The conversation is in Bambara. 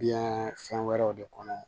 Biyɛn fɛn wɛrɛw de kɔnɔ